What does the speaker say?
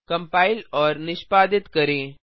compile और निष्पादित करें